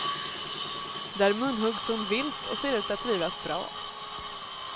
Där munhuggs hon vilt och ser ut att trivas bra.